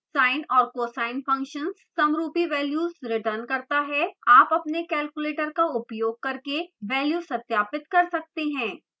sine और cosine functions समरूपी values return करता है आप अपने कैलकुलेटर का उपयोग करके values सत्यापित कर सकते हैं